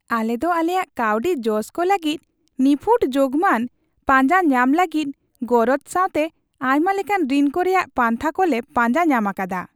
ᱟᱞᱮ ᱫᱚ ᱟᱞᱮᱭᱟᱜ ᱠᱟᱹᱣᱰᱤ ᱡᱚᱥᱠᱚ ᱞᱟᱹᱜᱤᱫ ᱱᱤᱯᱷᱩᱴ ᱡᱳᱜᱢᱟᱱ ᱯᱟᱸᱡᱟ ᱧᱟᱢ ᱞᱟᱹᱜᱤᱫ ᱜᱚᱨᱚᱡ ᱥᱟᱶᱛᱮ ᱟᱭᱢᱟ ᱞᱮᱠᱟᱱ ᱨᱤᱱ ᱠᱚ ᱨᱮᱭᱟᱜ ᱯᱟᱱᱛᱷᱟ ᱠᱚ ᱞᱮ ᱯᱟᱸᱡᱟ ᱧᱟᱢ ᱟᱠᱟᱫᱟ ᱾